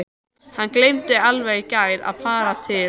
Hann gleymdi alveg í gær að fara til